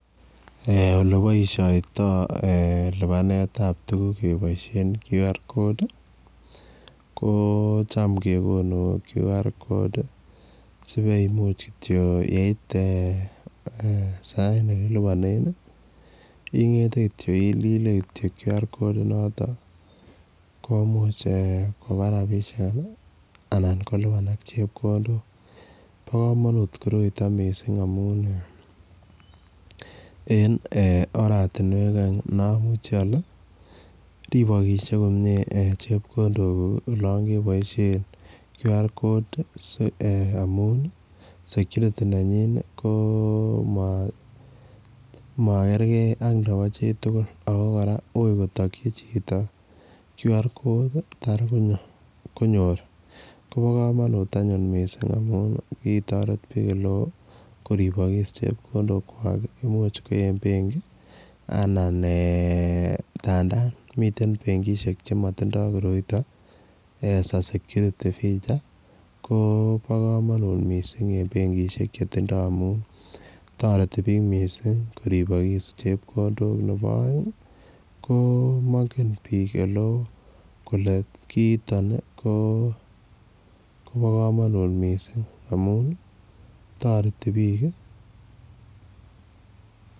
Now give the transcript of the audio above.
Eeh ole baishanito lupaneet ab tuguuk kebaisheen [qr code] ko chaam kegonuu [Q R code] sibai ngeet eeh sai ne kolupaanen ingethe kityoi ililee kityoi Qr code komuuch ko lupaanak rapisheek anan chepkondook bo kamanut koroitaan missing amuun en eeh oratinweek aeng ne amuchei ale ripakkshei komyei olaan kebaisheen qr code amuun ii [security] nenyin ii koma magerger ak nebo chii tugul ako kora wui kotagyii chitoo qr code taar konyoor koba kamanut missing amuun ki taret biik ole wooh koribagis chepkondook kwaak imuuch ko en benkii anan eeh ndandaan miten benkishek che matindoi koroitaan as a [security feature] koba kamanut eng benkishek che tindoi amuun taretiin biik missing ko ripaskis chepkondook nebo aeng mangeen biik ole wooh kole kiit taan nii ko ba kamanut missing amuun ii taretii biik ii.